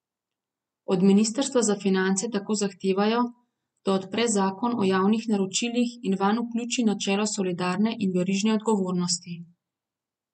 Od ministrstva za finance tako zahtevajo, da odpre zakon o javnih naročilih in vanj vključi načelo solidarne in verižne odgovornosti.